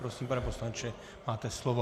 Prosím, pane poslanče, máte slovo.